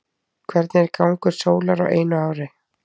hvernig er gangur sólar á einu ári